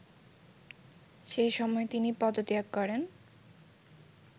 সেসময় তিনি পদত্যাগ করেন